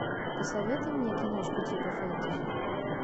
посоветуй мне киношку типа фэнтези